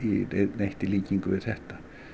neitt í líkingu við þetta